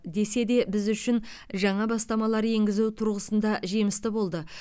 десе де біз үшін жаңа бастамалар енгізу тұрғысында жемісті болды